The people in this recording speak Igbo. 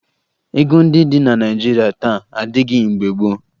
Ego ndị dị na Naịjirịa taa adịghị mgbe gboo